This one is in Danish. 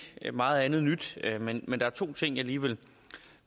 ikke meget andet nyt men der er to ting jeg lige vil